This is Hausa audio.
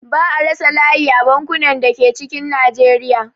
Ba'a rasa layi a bankunan da ke cikin Najeriya